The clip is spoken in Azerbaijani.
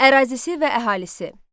Ərazisi və əhalisi.